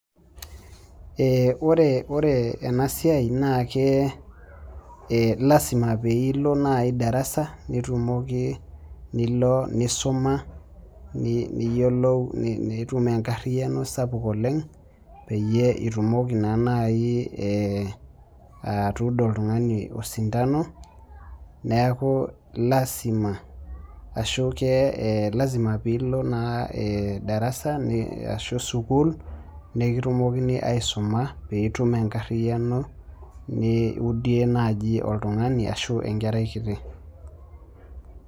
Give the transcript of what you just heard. Ee ore ore enasiai na lasima peilo nai darasa nitumoki nilo nisuma niyiolou, nitum enkariano sapuk oleng peyie itumoki nai atuudo oltungani osintano neaku lasima ashu lasima pilo ma darasa ashu sukul nikitumokini aisuma peitum enkariano niudie nai oltungani ashu enkerai kiti.